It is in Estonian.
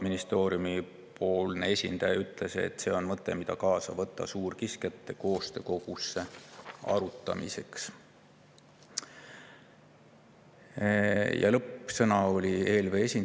Ministeeriumi esindaja ütles, et see on mõte, mille ta võtab arutamiseks kaasa suurkiskjate koostöökogusse.